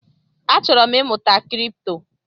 Achọrọ m ịmụta Kripto